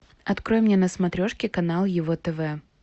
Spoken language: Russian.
открой мне на смотрешке канал его тв